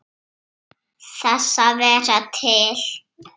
Þess að vera til.